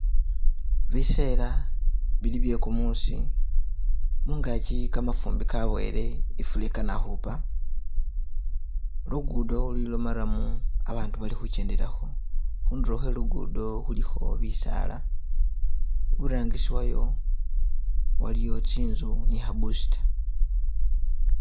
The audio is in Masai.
Bisela bili bye gumusi mungagi gamafumbi gabowele ifula igana kuhupa lugudo luli lo marram abandu bali khujendelakho khuduro khwelugudo khulikho bisaala iburangisi wayo waliyo tsinzu ni kaboosta.